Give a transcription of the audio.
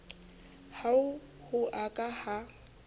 ha ho a ka ha